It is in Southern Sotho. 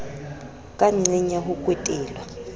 ka nqeng ya ho kwetelwa